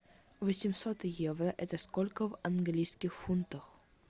восемьсот евро это сколько в английских фунтах